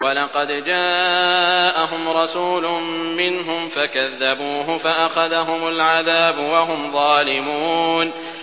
وَلَقَدْ جَاءَهُمْ رَسُولٌ مِّنْهُمْ فَكَذَّبُوهُ فَأَخَذَهُمُ الْعَذَابُ وَهُمْ ظَالِمُونَ